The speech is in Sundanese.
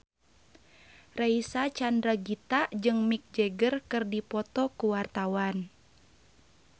Reysa Chandragitta jeung Mick Jagger keur dipoto ku wartawan